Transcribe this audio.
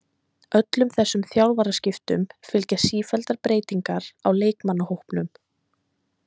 Öllum þessum þjálfaraskiptum fylgja sífelldar breytingar á leikmannahópnum.